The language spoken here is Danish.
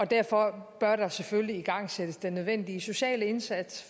derfor bør der selvfølgelig igangsættes den nødvendige sociale indsats